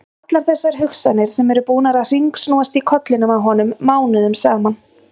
Allar þessar hugsanir sem eru búnar að hringsnúast í kollinum á honum mánuðum saman!